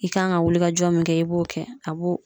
I kan ka wulikajɔ min kɛ i b'o kɛ a b'o